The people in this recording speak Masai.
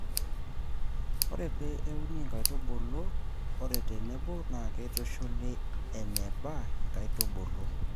ore pee euni inkaitubulu are tenebo, naa keitushuli eneba inkaitubulu.